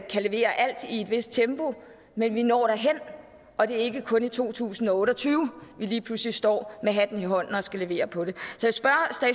kan levere alt i et vist tempo men at vi når derhen og det ikke kun er i to tusind og otte og tyve vi lige pludselig står med hatten i hånden og skal levere på det